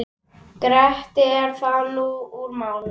Greitt er þar úr málum.